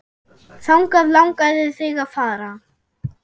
Þangað langaði þig að fara.